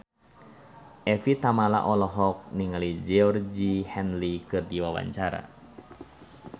Evie Tamala olohok ningali Georgie Henley keur diwawancara